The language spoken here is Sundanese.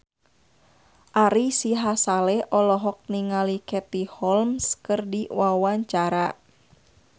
Ari Sihasale olohok ningali Katie Holmes keur diwawancara